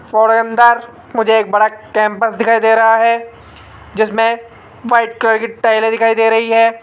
और अंदर मुझे एक बड़ा कैंपस दिखाई दे रहा है जिसमें वाइट कलर के टाइलें दिखाई दे रही है।